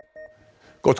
gott